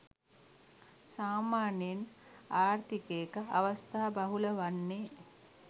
සාමාන්‍යයෙන් ආර්ථිකයක අවස්ථා බහුල වන්නේ